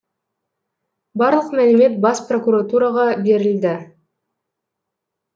барлық мәлімет бас прокуратураға берілді